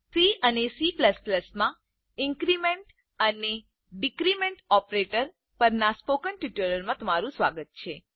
C અને C માં increment અને ડીક્રીમેન્ટ ઓપરેટર પરના સ્પોકન ટ્યુટોરીયલમાં તમારું સ્વાગત છે